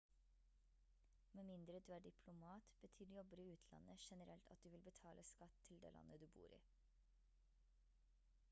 med mindre du er diplomat betyr jobber i utlandet generelt at du vil betale skatt til det landet du bor i